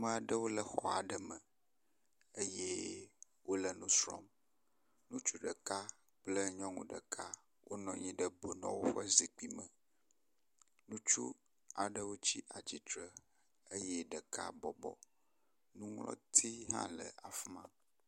Ame aɖewo le xɔ aɖe me eye wole nu srɔ̃m. Ŋutsu ɖeka, nyɔnu ɖeka, wonɔ anyi ɖe bunɔwo ƒe zikpui me. Ŋutsu aɖe tsi atsitre eye ɖeka bɔbɔ. Nuŋlɔti hã le afi ma.